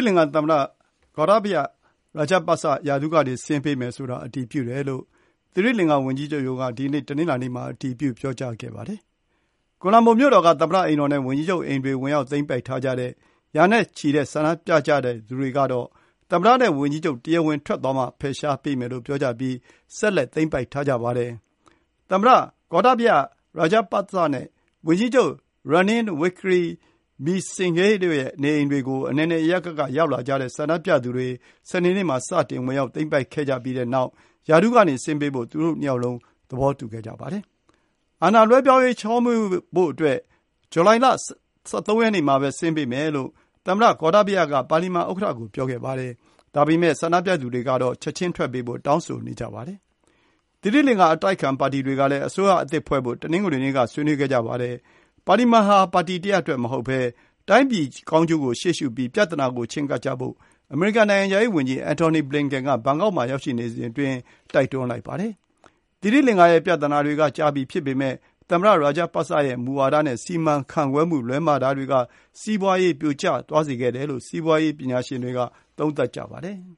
လင်္ကာသမ္မတ Gotabaya Rajapaksa ရာထူးကနေ ဆင်းပေးမယ်ဆိုတာ အတည်ပြုတယ်လို့ သီရိလင်္ကာဝန်ကြီးချုပ်ရုံးက ဒီနေ့ တနင်္လာနေ့မှာ အတည်ပြုပြောကြားခဲ့ပါတယ်။ ကိုလံဘို မြို့တော်က သမ္မတအိမ်တော်နဲ့ဝန်ကြီးချုပ်အိမ်တွေ ဝင်ရောက်သိမ်းပိုက် ထားကြတဲ့ ရာနဲ့ချီတဲ့ဆန္ဒပြသူတွေက သမ္မတနဲ့ဝန်ကြီးချုပ် တရားဝင်ထွက်သွားမှ ဖယ်ရှားပေးမယ်လို့ ပြောကြားပြီး ဆက်လက်သိမ်းပိုက်ထားကြပါတယ်။ သမ္မတ Gotabaya Rajapaksa နဲ့ ဝန်ကြီးချုပ် Ranil Wickremesinghe တို့ရဲ့ နေအိမ်တွေကို အနယ်နယ်အရပ်ရပ်က ရောက်လာကြတဲ့ ဆန္ဒပြသူတွေ စနေနေ့မှာ စတင်ဝင်ရောက် သိမ်းပိုက်ခဲ့ကြပြီးနောက် ရာထူးကနေ ဆင်းပေးဖို့ သူတို့ ၂ ယောက်လုံး သဘောတူခဲ့ကြပါတယ်။ အာဏာလွှဲပြေားရေး ချောမွေ့ဖို့အတွက် ဇူလိုင် ၁၃ ရက်နေ့ မှာ ဆင်းပေးမယ်လို့ သမ္မတ Gotabaya Rajapaksa က ပါလီမန် ဥက္ကဋ္ဌကို ပြောခဲ့ပါတယ်။ ဒါပေမယ့် ဆန္ဒပြသူတွေကတော့ ချက်ချင်းထွက်ပေးဖို့ တောင်းဆိုနေကြပါတယ်။ သီရိလင်္ကာ အတိုက်အခံပါတီတွေကလည်း အစိုးရအသစ်ဖွဲ့ဖို့ တနင်္ဂနွေနေ့က ဆွေးနွေးခဲ့ကြပါတယ်။ ပါလီမန်ဟာ ပါတီတရပ်အတွက်မဟုတ်ဘဲ တိုင်းပြည်ကောင်းကျိုးကို ရှေ့ရှုပြီး ပြဿနာကိုချဉ်းကပ်ဖို့ အမေရိကန် နိုင်ငံခြားရေးဝန်ကြီး Anthony Blinken က ဘန်ကောက်မှာ ရောက်ရှိနေစဉ် တိုက်တွန်းလိုက်ပါတယ်။ သီရိလင်္ကာရဲ့ပြဿနာတွေက ကြာပြီဖြစ်ပေမယ့် သမ္မတ Rajapaksa ရဲ့မူဝါဒနဲ့စီမံခန့်ခွဲမှု လွဲမှားတာတွေက စီးပွါးရေး ပြိုကျသွားစေခဲ့တယ်လို့ စီးပွါးရေး ပညာရှင်တွေက သုံးသပ်ကြပါတယ်။